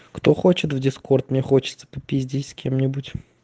кто хочет в дискорд мне хочется попиздеть с кем-нибудь